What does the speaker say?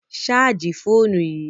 Ṣààjì fóònù yìí!